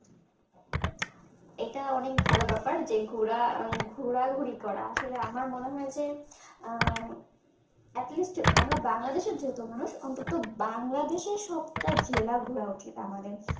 এটা অনেক ভালো ব্যাপার যে ঘুরা ঘুরা ঘুরি করা আসলে আমার মনে হয় যে আহ at least আমরা বাংলাদেশের যেহেতু মানুষ অন্তত বাংলাদেশের সবটা জেলা ঘোড়া উচিত আমাদের